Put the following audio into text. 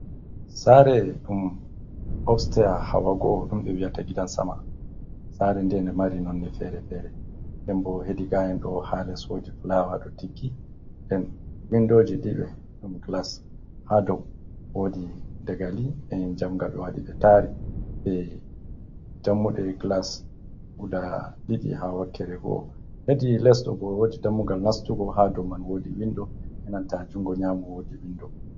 Sare ɗum obstia hawa go'o ɗum ɓe wiyata gidan sama, sare nde, nde mari nonne fere-fere, den bo hedi gayan ɗo ha les wodi fulawa ɗo tiggi, den windoji ɗiɗi ɗum glas, ha dou wodi dagali en jamga ɓe waɗi ɓe tari be dammuɗe glas guda ɗiɗi ha wakere go'o, hedi les ɗo bo wodi dammugal nastugo, ha dou man wodi windo enanta jungo nyamo wodi windo.